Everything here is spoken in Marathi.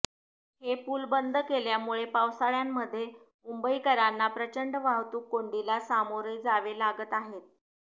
हे पूल बंद केल्यामुळे पावसाळ्यामध्ये मुंबईकरांना प्रचंड वाहतूक कोंडीला सामोरे जावे लागत आहेत